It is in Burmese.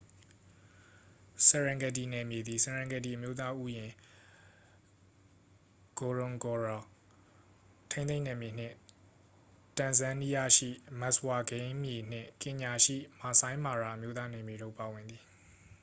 serengeti နယ်မြေသည် serengeti အမျိုးသားဥယျာဉ် ngorongoro ထိန်းသိမ်းနယ်မြေနှင့် တန်ဇန်နီးယားရှိ မတ်စ်ဝါ ဂိမ်းမြေနှင့် ကင်ညာရှိ မာဆိုင်းမာရာ အမျိုးသား နယ်မြေတို့ပါဝင်သည်